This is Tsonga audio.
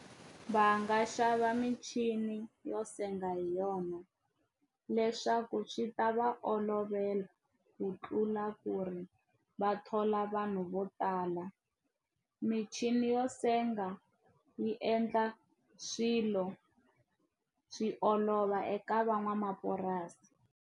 Va nga xava michini yo senga hi yona leswaku swi ta va olovela ku tlula ku ri va thola vanhu vo tala michini yo senga yi endla swilo swi olova eka van'wamapurasi.